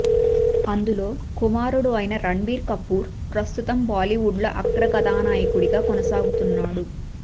అందులో కుమారుడు అయిన రణబీర్ కపూర్ ప్రస్తుతం బాలీవుడ్ లో అగ్ర కథానాయకుడిగా కొనసాగుతున్నాడు